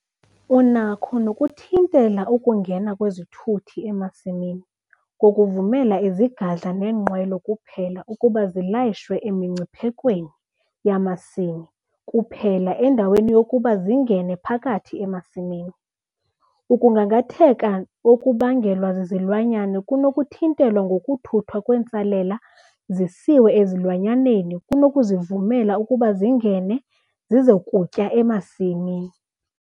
Unakho nokuthintela ukungena kwezithuthi emasimini ngokuvumela izigadla neenqwelo kuphela ukuba zilayishwe emingciphekweni yamasimi kuphela endaweni yokuba zingene phakathi emasimini. Ukugangatheka okubangelwa zizilwanyana kunokuthintelwa ngokuthuthwa kwentsalela zisiwe ezilwanyaneni kunokuzivumela ukuba zingene zize kutya emasimini.